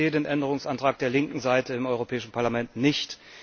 Ich verstehe den Änderungsantrag der linken Seite im Europäischen Parlament nicht.